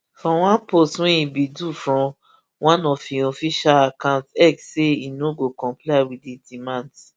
for one post wey e bin do from one of im official accounts x say e no go comply wit di demands